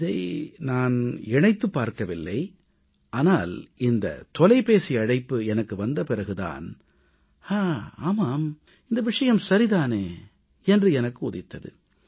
இதை நான் இணைத்துப் பார்க்கவில்லை ஆனால் இந்த தொலைபேசி அழைப்பு எனக்கு வந்த பிறகு தான் ஆமாம் இந்த விஷயம் சரி தானே என்று எனக்கு உதித்தது